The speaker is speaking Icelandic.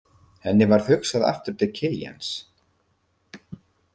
Henni varð hugsað aftur til Kiljans.